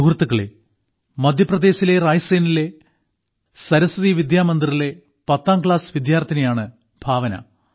സുഹൃത്തുക്കളേ മധ്യപ്രദേശിലെ റായ്സേനിലെ സരസ്വതി വിദ്യാമന്ദിറിലെ പത്താംക്ലാസ്സ് വിദ്യാർത്ഥിനിയാണ് ഭാവന